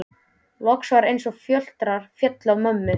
Loks var eins og fjötrar féllu af mömmu.